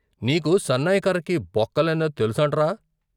నీకు సన్నాయి కర్రకి బొక్కలెన్నో తెలుసంట్రా?